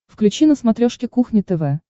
включи на смотрешке кухня тв